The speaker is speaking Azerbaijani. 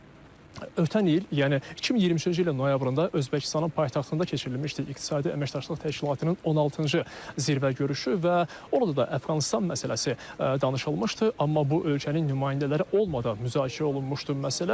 Məsələn, ötən il, yəni 2023-cü ilin noyabrında Özbəkistanın paytaxtında keçirilmişdi İqtisadi Əməkdaşlıq Təşkilatının 16-cı zirvə görüşü və orada da Əfqanıstan məsələsi danışılmışdı, amma bu ölkənin nümayəndələri olmadan müzakirə olunmuşdu məsələ.